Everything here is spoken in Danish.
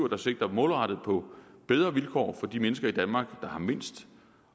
der sigter målrettet på bedre vilkår for de mennesker i danmark der har mindst